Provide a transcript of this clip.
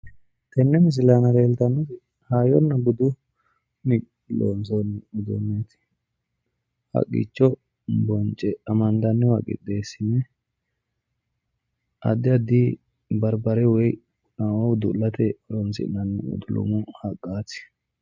Tenne misile aana leeltannoti hayyonna budunni loonsoonni uduunneeti. Haqqicho bonce amandanniwa qixxeessine addi addi barbare woyi laweyore udu'late horoonsi'nanni haqqaati.